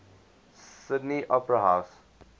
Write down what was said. sydney opera house